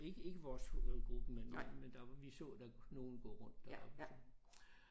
Ikke ikke vores gruppe men men men der vi så der nogle gå rundt deroppe så